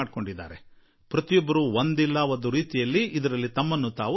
ಆದರೆ ಪ್ರತಿಯೊಬ್ಬರೂ ಒಂದಲ್ಲಾ ಒಂದು ರೀತಿಯಲ್ಲಿ ಇದರೊಟ್ಟಿಗೆ ಕೂಡಿಕೊಂಡಿದ್ದಾರೆ